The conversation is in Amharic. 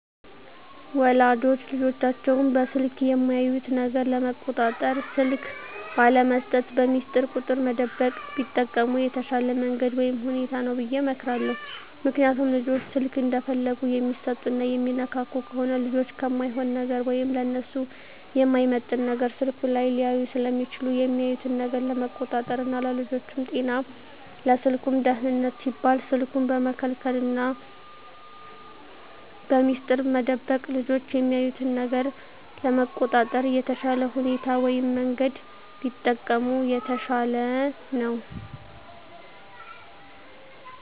ወላጆች ልጆቻቸውን በስልክ የሚያዩት ነገር ለመቆጣጠር ስልክ ባለመስጠት፣ በሚስጥር ቁጥር መደበቅ ቢጠቀሙ የተሻለ መንገድ ወይም ሁኔታ ነው ብየ እመክራለሁ። ምክንያቱም ልጆች ስልክ እንደፈለጉ የሚሰጡና የሚነካኩ ከሆነ ልጆች እማይሆን ነገር ወይም ለነሱ የማይመጥን ነገር ስልኩ ላይ ሊያዩ ስለሚችሉ የሚያዩትን ነገር ለመቆጣጠር ና ለልጆቹም ጤና ለስልኩም ደህንነት ሲባል ስልኩን በመከልከልና በሚስጥር መደበቅ ልጆች የሚያዩትን ነገር ለመቆጣጠር የተሻለ ሁኔታ ወይም መንገድ ቢጠቀሙ የተሻለ ነው።